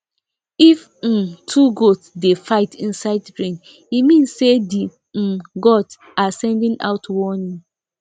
if um two goat dey fight inside rain e mean say the um gods are sending out warning